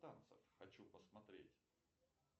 танцев хочу посмотреть